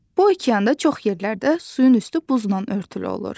Bu okeanda çox yerlərdə suyun üstü buzla örtülü olur.